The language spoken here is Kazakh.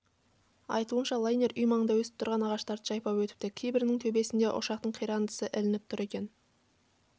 айтуынша лайнер үй маңында өсіп тұрған ағаштарды жайпап өтіпті кейбірінің төбесінде ұшақтың қирандысы ілініп тұр екен